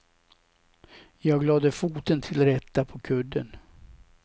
Jag lade foten till rätta på kudden.